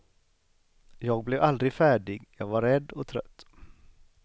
Jag blev aldrig färdig, jag var rädd och trött.